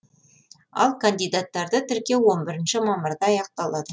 ал кандидаттарды тіркеу он бірінші мамырда аяқталады